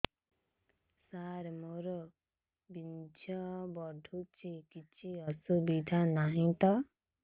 ସାର ମୋର ବୀର୍ଯ୍ୟ ପଡୁଛି କିଛି ଅସୁବିଧା ନାହିଁ ତ